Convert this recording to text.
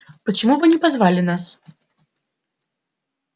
почему вы не позвали нас